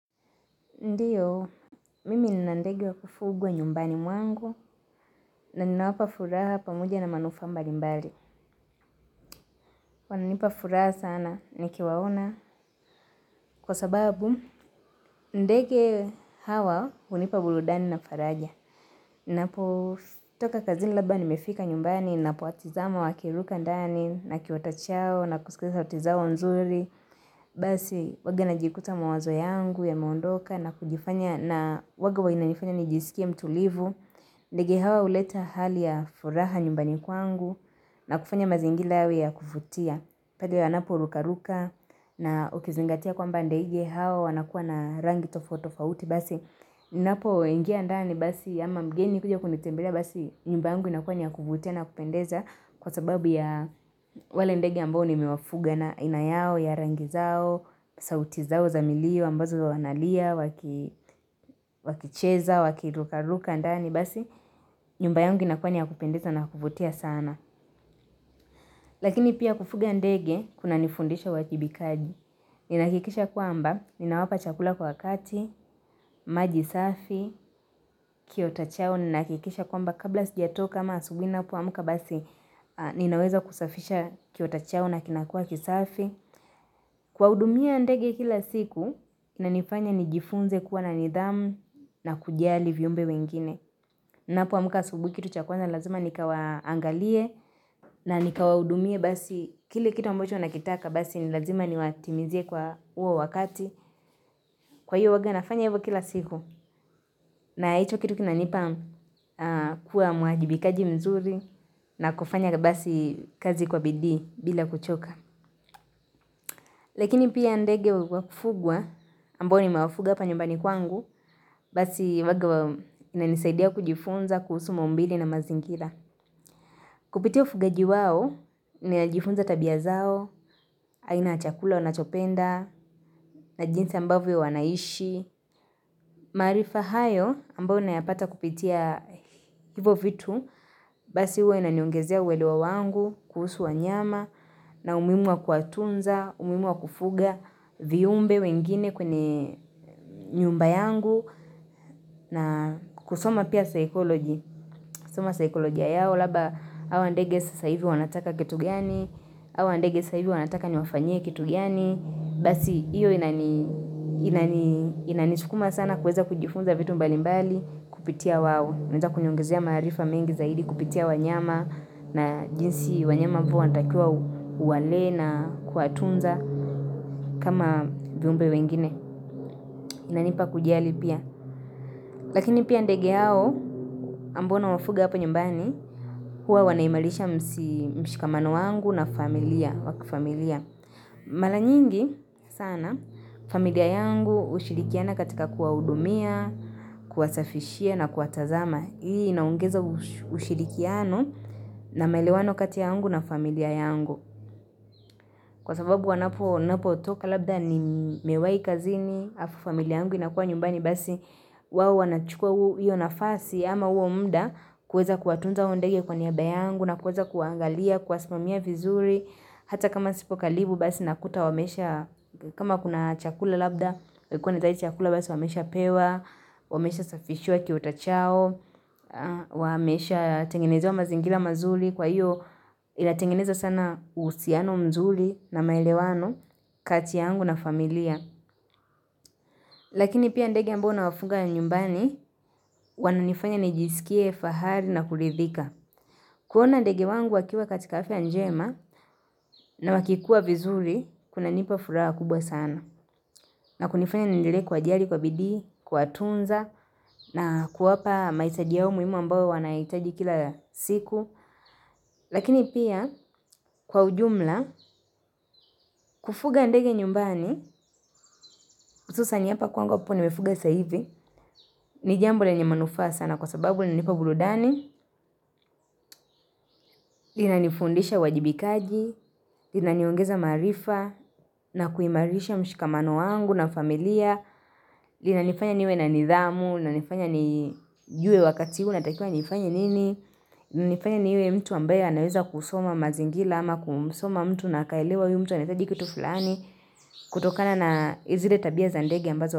Ndiyo, mimi nina ndege wa kufugwa nyumbani mwangu, na ninawapa furaha pamoja na manufaa mbali mbali. Wananipa furaha sana, nikiwaona, kwa sababu, ndege hawa, hunipa burudani na faraja. Ninapo, toka kazi labda, nimefika nyumbani, napo watizama wakiruka ndani, na kiota chao, na kusikia sauti zao nzuri. Basi huwaga najikuta mawazo yangu ya meondoka na kujifanya na huwaga huwa inanifanya nijisikie mtulivu ndege hawa huleta hali ya furaha nyumbani kwangu na kufanya mazingira yawe ya kuvutia Paleyanapo ruka ruka na ukizingatia kwamba ndege hawa wanakuwa na rangi tofauti tofauti Basi ninapo ingia ndani basi ama mgeni kuja kunitembelea basi nyumba yangu inakuwa niyakuvutia na kupendeza Kwa sababu ya wale ndege ambao nimewafuga na aina yao, ya rangi zao, sauti zao za milio ambazo wanalia, wakicheza, wakiruka ruka ndani. Basi, nyumba yangu inakua niyakupendeza na kuvutia sana. Lakini pia kufuga ndege, kuna nifundisha uwajibikaji. Ninahakikisha kwamba, ninawapa chakula kwa wakati, majisafi, kiota chao, ninahakikisha kwamba. Kabla sijatoka ama asubuhi ninapo amka basi ninaweza kusafisha kiota chao na kinakua kisafi. Kuwahudumia ndege kila siku inanifanya nijifunze kuwa na nidhamu na kujali viumbe wengine. Napoamka asubuhi kitu cha kwanza lazima nikawa angalie na nikawahudumie basi. Kile kitu ambacho nakitaka basi nilazima ni watimizie kwa huo wakati. Kwa hiyo huwaga nafanya hivyo kila siku na hicho kitu kinanipa kuwa muajibikaji mzuri. Na kufanya basi kazi kwa bidii bila kuchoka. Lakini pia ndege wa kufugwa ambao nimewafuga hapa nyumbani kwangu basi huwaga inanisaidia kujifunza kuhusu maumbile na mazingira. Kupitia ufugaji wao ninajifunza tabia zao aina ya chakula wanachopenda na jinsi ambavyo wanaishi. Maarifa hayo ambayo na yapata kupitia hivyo vitu basi huwa inaniongezea uelewa wangu kuhusu wanyama na umuhimu wa kuwatunza, umuhimu wa kufuga, viumbe wengine kwenye nyumba yangu na kusoma pia psychology, kusoma psycholojia yao labda hawa ndege sasa hivi wanataka kitu gani, hawa ndege sasa hivi wanataka niwafanyie kitu gani basi hiyo inanisukuma sana kuweza kujifunza vitu mbali mbali kupitia wao inaweza kuniongezea maarifa mengi zaidi kupitia wanyama na jinsi wanyama unatakiwa uwalee na kuwatunza kama viumbe wengine. Inanipa kujali pia. Lakini pia ndege hao ambao nawafuga hapa nyumbani huwa wanaimarisha mshikamano wangu na familia. Mara nyingi sana familia yangu hushirikiana katika kuwahudumia, kuwasafishia na kuwatazama. Hii inaongeza ushirikiano na maelewano kati yangu na familia yangu. Kwa sababu wanapotoka labda ni mewai kazini, halafu familia yangu inakuwa nyumbani basi wao wanachukua hiyo nafasi ama huo muda kuweza kuwatunza hao ndege kwa niaba yangu na kuweza kuwaangalia, kuwasimamia vizuri. Hata kama sipo karibu basi nakuta wamesha, kama kuna chakula labda, chakula basi wameshaa pewa, wamesha safishiwa kiota chao, wameshaa tengenezewa mazingira mazuri, kwa hiyo inatengeneza sana uhusiano mzuri na maelewano kati yangu na familia. Lakini pia ndege ambao nawafunga nyumbani, wananifanya nijisikie fahari na kuridhika. Kuona ndege wangu wakiwa katika afya njema na wakikua vizuri, kunanipa furaha kubwa sana. Na kunifanya niendele kuwajali, kwa bidii, kuwatunza, na kuwapa mahitaji yao muhimu ambayo wanahitaji kila siku. Lakini pia, kwa ujumla, kufuga ndege nyumbani, hususan hapa kwangu ambapo nimefuga saa hivi, ni jambo lenye manufaa sana kwa sababu linanipa burudani, linanifundisha uwajibikaji, linaniongeza maarifa na kuimarisha mshikamano wangu na familia, linanifanya niwe na nidhamu, linanifanya nijue wakati huu natakiwa nifanye nini, linanifanya niwe mtu ambaye anaweza kusoma mazingira ama kusoma mtu na kaelewa huyu mtu anahitaji kitu fulani kutokana na zile tabia za ndege ambazo.